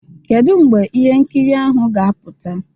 Kedu mgbe ihe nkiri ahụ ga-apụta?